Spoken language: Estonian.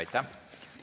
Aitäh!